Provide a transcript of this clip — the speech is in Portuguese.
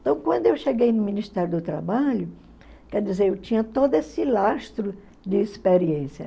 Então, quando eu cheguei no Ministério do Trabalho, quer dizer, eu tinha todo esse lastro de experiência.